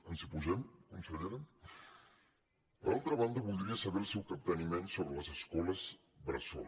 ens hi posem consellera per altra banda voldria saber el seu capteniment sobre les escoles bressol